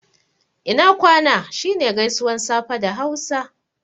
Ina kwana' shi ne gaisuwan safe da hausa